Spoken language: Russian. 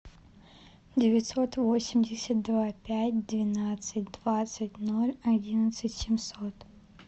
девятьсот восемьдесят два пять двенадцать двадцать ноль одиннадцать семьсот